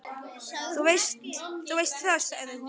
Þú veist það, sagði hún.